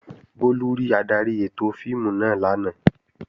Bólú rí adarí ètò fíìmù náà lánàá